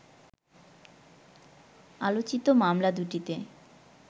আলোচিত মামলা দুটিতে